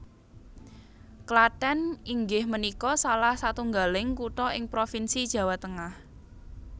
Klathèn inggih menikå salah satunggaling kuthå ing provinsi Jawa Tengah